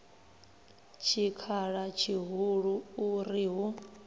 tshikhala tshihulu u ri hu